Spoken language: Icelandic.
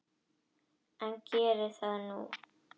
En geri það nú.